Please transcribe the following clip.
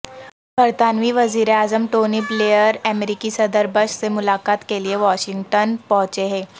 برطانوی وزییراعظم Tony Blair امریکی صدر بش سے ملاقات کے لیے واشنگٹن پہنچے ہیں